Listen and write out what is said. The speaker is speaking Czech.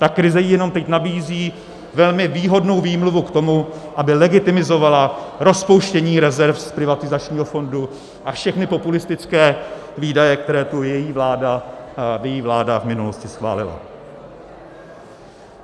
Ta krize jí jenom teď nabízí velmi výhodnou výmluvu k tomu, aby legitimizovala rozpouštění rezerv z privatizačního fondu a všechny populistické výdaje, které tu její vláda v minulosti schválila.